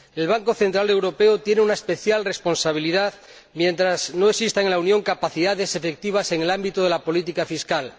El Banco Central Europeo tiene una especial responsabilidad mientras no existan en la Unión capacidades efectivas en el ámbito de la política fiscal.